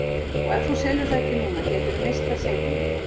Og ef þú selur það ekki núna gætirðu misst það seinna.